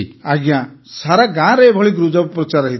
ଆଜ୍ଞା ସାରା ଗାଁରେ ଏଭଳି ଗୁଜବ ପ୍ରଚାର ହୋଇଥିଲା